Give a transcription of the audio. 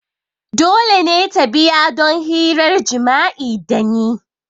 Dole ne ta biya don hirar jima'i da ni!